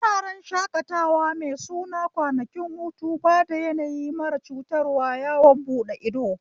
Wuraren shakatawa mai suna kwanakin hutu bada yanayi mara cutarwa yawon buɗe ido